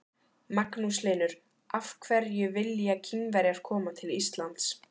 Magnús Hlynur: Af hverju vilja Kínverjar koma til Íslands?